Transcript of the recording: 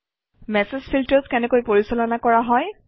message filters কেনেকৈ পৰিচালনা কৰা হয়